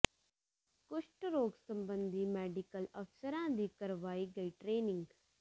ਕੁਸ਼ਟ ਰੋਗ ਸਬੰਧੀ ਮੈਡੀਕਲ ਅਫ਼ਸਰਾਂ ਦੀ ਕਰਵਾਈ ਗਈ ਟ੍ਰੇਨਿੰਗ